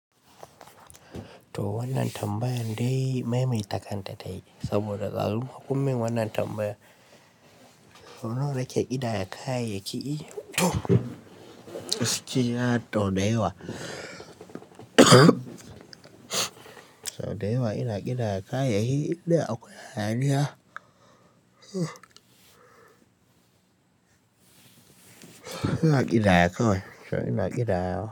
To wannan tambaya dai maimaita kanta tayi saboda ɗazu kunyi mun wannan tambayar sau nawa nake idaya ka yaƙi to gaskiya to da yawa sau da yawa ina idaya ka yayi inda akwai hayaniya ina idaya kawai so ina idaya.